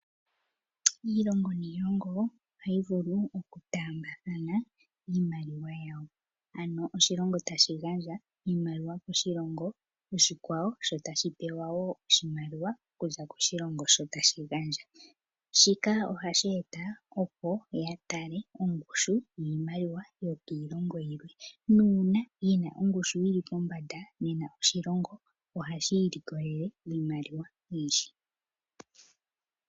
Iilongo niilongo ohayi vulu oku taambathana iimaliwa yawo. Ano oshilongo tashi gandja iimaliwa koshilongo oshikwawo shino ohaye shi ningi, opo ya tale ongushu yiilongo iikwawo sho tashi pewa oshimaliwa koshilongo oshikwawo. Uuna shinaa ongushu yili pombanda nena oshilongo otashi i likolele iimaliwa oyindji.